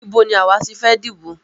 Ibo ní àwa ti fẹ́ dìbò?